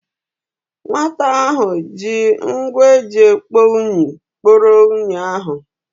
Nwata ahụ ji ngwa eji ekpo unyi kporo unyi ahụ.